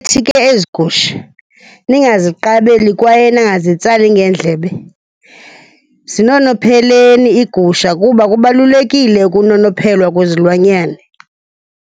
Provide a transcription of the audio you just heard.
ezi gusha, ningaziqabeli kwaye ningazitsali ngeendlebe. Zinonopheleni iigusha kuba kubalulekile ukunonophelwa kwezilwanyane.